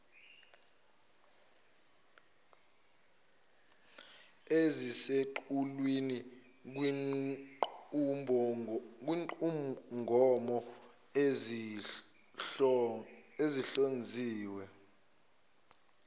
eziseqhulwini kwinqubomgomo esizihlonzile